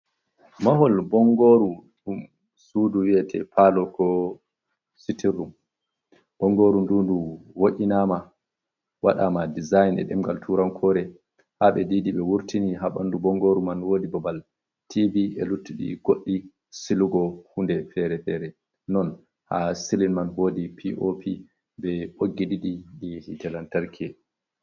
Mahol bongoru dum sudu wiyete palo ko citinrrum, bongoru ndu du wo’inama wadama dezign e demgal turankore habe didi be wurtini habandu bongoru man wodi babal tibi e luttudi goddi silugo hunde fere-fere, non ha sillin man wodi pop be bogi didi hi lantarki.